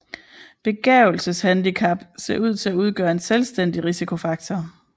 Begavelseshandicap ser ud til at udgøre en selvstændig risikofaktor